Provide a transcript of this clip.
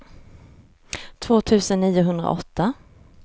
två tusen niohundraåtta